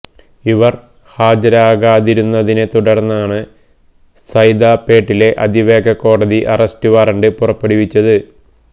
ഇവര് ഹാജരാകാതിരുന്നതിനെ തുടർന്നാണ് സൈദാപ്പേട്ടിലെ അതിവേഗ കോടതി അറസ്റ്റ് വാറണ്ട് പുറപ്പെടുവിച്ചത്